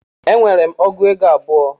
E nwere m ọgụego abụọ